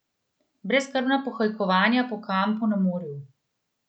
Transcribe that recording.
Brezskrbna pohajkovanja po kampu na morju.